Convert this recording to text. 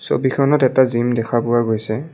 ছবিখনত এটা জিম দেখা পোৱা গৈছে।